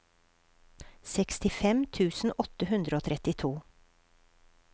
sekstifem tusen åtte hundre og trettito